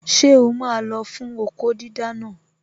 Ṣé o máa lọ fún okó dídá naa?